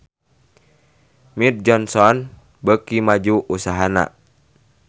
Mead Johnson beuki maju usahana